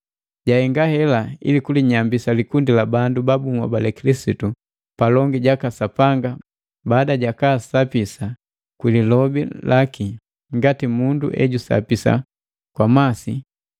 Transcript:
Jahenga hela ili kulinyambisa likundi la bandu ba bunhobale Kilisitu palongi jaka Sapanga baada jakaasapisa kwi lilobi laki ngati mundu ejusapisa kwa masi,